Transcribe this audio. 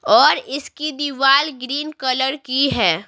और इसकी दीवार ग्रीन कलर की है।